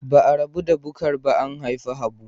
Ba a rabu da Bukar ba an haifi Habu.